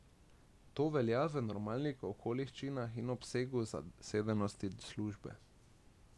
To velja v normalnih okoliščinah in obsegu zasedenosti službe.